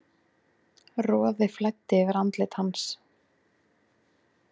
Roði flæddi yfir andlit hans.